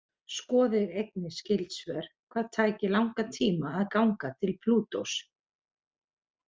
Skoðið einnig skyld svör: Hvað tæki langan tíma að ganga til Plútós?